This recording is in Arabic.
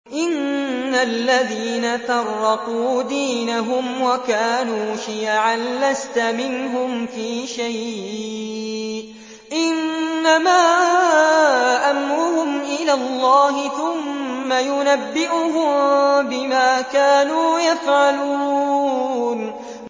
إِنَّ الَّذِينَ فَرَّقُوا دِينَهُمْ وَكَانُوا شِيَعًا لَّسْتَ مِنْهُمْ فِي شَيْءٍ ۚ إِنَّمَا أَمْرُهُمْ إِلَى اللَّهِ ثُمَّ يُنَبِّئُهُم بِمَا كَانُوا يَفْعَلُونَ